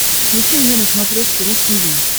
включи мне на смотрешке ру ти ви